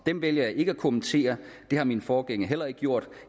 dem vælger jeg ikke at kommentere det har mine forgængere heller ikke gjort